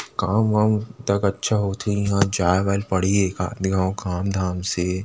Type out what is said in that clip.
काम वाम तक अच्छा होथे इहा जाए वाए ल पड़हि एकात घाव काम धाम से--